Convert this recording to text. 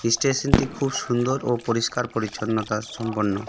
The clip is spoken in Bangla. স্টেশনটি খুব সুন্দর ও পরিষ্কার পরিচ্ছন্নতা সম্পন্ন .